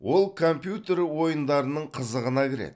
ол компьютер ойындарының қызығына кіреді